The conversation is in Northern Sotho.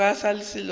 ga go na selo seo